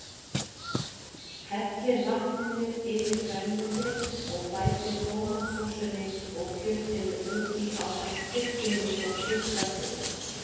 Hellið vatninu yfir grænmetið og bætið tómatsósunni og kjötinu út í ásamt kryddinu og kjötkraftinum.